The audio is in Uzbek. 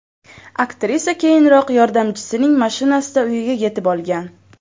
Aktrisa keyinroq yordamchisining mashinasida uyiga yetib olgan.